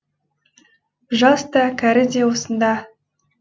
жас та кәрі де осында